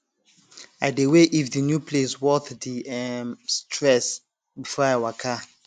i dey weigh if the new place worth the um stress before i waka